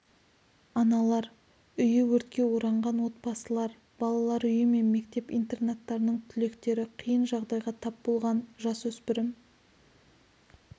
аналар үйі өртке оранған отбасылар балалар үйі мен мектеп-интернаттарының түлектері қиын жағдайға тап болған жасөспірім